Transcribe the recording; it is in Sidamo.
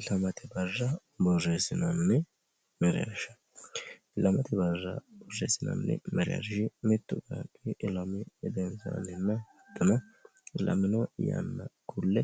ilamati barra borreessinanni mereersha mittu qaaqqi ilamino yanna kulle